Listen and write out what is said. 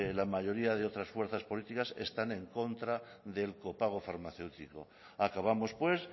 la mayoría de otras fuerzas políticas están en contra del copago farmacéutico acabamos pues